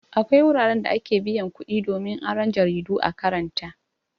Akwai wuraran da ake biyan kuɗi domin aron jaridu a karanta.